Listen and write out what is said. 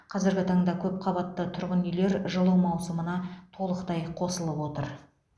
қазіргі таңда көпқабатты тұрғын үйлер жылу маусымына толықтай қосылып отыр